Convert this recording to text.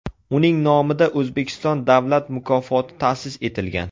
Uning nomida O‘zbekiston Davlat mukofoti ta’sis etilgan.